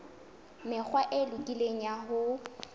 mekgwa e lokileng ya ho